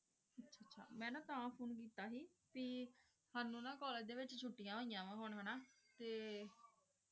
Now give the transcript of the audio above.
ਸਾਨੂ ਨਾ college ਡੀ ਵੇਚ ਚੁਤੇਯਾਂ ਹੁਯਾਂ ਹੁਣ ਹਾਨਾ ਟੀ ਹੁਣ